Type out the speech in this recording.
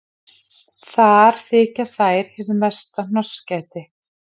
Þar þykja þær hið mesta hnossgæti.